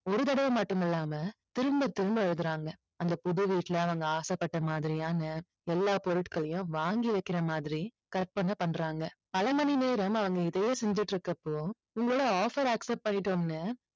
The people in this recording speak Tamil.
ஒரு தடவை மட்டும் இல்லாம திரும்பத் திரும்ப எழுதுறாங்க. அந்த புது வீட்ல அவங்க ஆசைப்பட்ட மாதிரியான எல்லா பொருட்களையும் வாங்கி வைக்கிற மாதிரி கற்பனை பண்றாங்க. பல மணி நேரம் அவங்க இதையே செஞ்சிட்டு இருக்குறப்போ உங்களோட offer accept பண்ணிட்டோம்னு